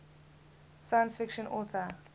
science fiction author